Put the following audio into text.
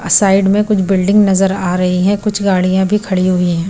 Side में कुछ building नजर आ रही है कुछ गाड़ियां भी खड़ी हुई हैं।